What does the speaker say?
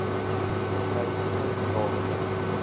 my kind laat